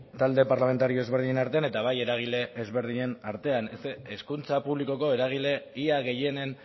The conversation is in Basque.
talde parlamentario desberdinen artean eta bai eragile ezberdinen artean hezkuntza publikoko eragile ia gehienen